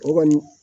O kɔni